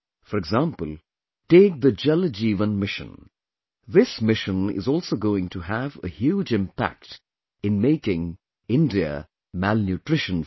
For example, take the Jal Jeevan Mission...this mission is also going to have a huge impact in making India malnutrition free